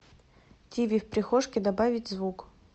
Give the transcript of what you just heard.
тиви в прихожке добавить звук